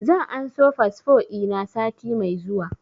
Zan anso fasfo ina sati mai zuwa